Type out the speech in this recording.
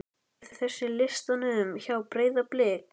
er þessi á listanum hjá Breiðablik?